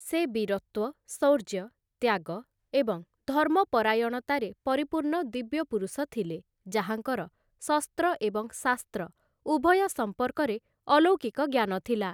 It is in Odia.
ସେ ବୀରତ୍ୱ, ଶୌର୍ଯ୍ୟ, ତ୍ୟାଗ ଏବଂ ଧର୍ମପରାୟଣତାରେ ପରିପୂର୍ଣ୍ଣ ଦିବ୍ୟପୁରୁଷ ଥିଲେ ଯାହାଙ୍କର ଶସ୍ତ୍ର ଏବଂ ଶାସ୍ତ୍ର ଉଭୟ ସମ୍ପର୍କରେ ଅଲୌକିକ ଜ୍ଞାନ ଥିଲା ।